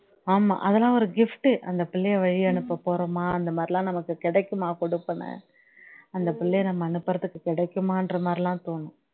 ஆமா அதெல்லாம் ஒரு gift உ அந்த பிள்ளைய வழி அனுப்ப போறோமா அந்தமாதிரிலாம் நமக்கு கிடைக்குமா கொடுப்பனை அந்த பிள்ளைய நம்ம அனுப்புறதுக்கு கிடைக்குமான்றமாரிலாம் தோணும்